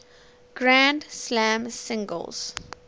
grand slam singles